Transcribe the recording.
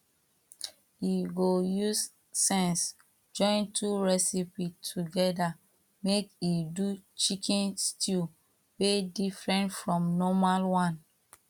e go use sense join two recipes together make e do chicken stew wey different from normal one